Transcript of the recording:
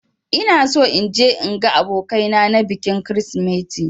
Ina so in je in ga abokai na na bikin krisimeti